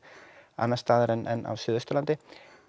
annars staðar en á Suðausturlandi